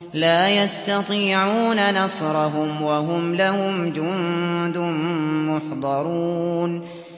لَا يَسْتَطِيعُونَ نَصْرَهُمْ وَهُمْ لَهُمْ جُندٌ مُّحْضَرُونَ